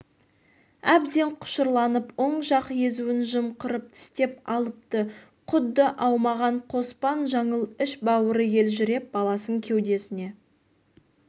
әбден құшырланып оң жақ езуін жымқырып тістеп алыпты құдды аумаған қоспан жаңыл іш-бауыры елжіреп баласын кеудесіне